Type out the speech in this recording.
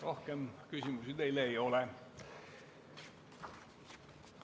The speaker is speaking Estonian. Rohkem küsimusi teile ei ole.